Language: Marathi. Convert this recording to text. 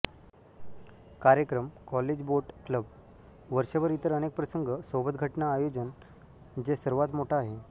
कार्यक्रम कॉलेज बोट क्लब वर्षभर इतर अनेक प्रसंग सोबत घटना आयोजन जे सर्वात मोठा आहे